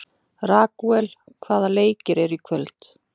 Ragúel, hvaða leikir eru í kvöld?